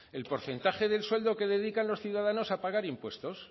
el porcentaje del sueldo que dedican los ciudadanos a pagar impuestos